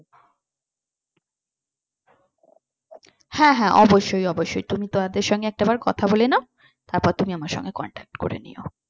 হ্যাঁ হ্যাঁ অবশ্যই অবশ্যই তুমি তাদের সঙ্গে একটাবার কথা বলে নাও তারপরে তুমি আমার সঙ্গে contact করে নিও।